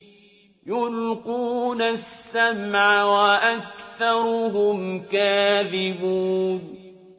يُلْقُونَ السَّمْعَ وَأَكْثَرُهُمْ كَاذِبُونَ